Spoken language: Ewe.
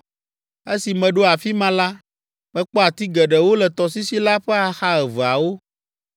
Esi meɖo afi ma la, mekpɔ ati geɖewo le tɔsisi la ƒe axa eveawo.